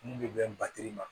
Mun bɛ bɛn batiri ma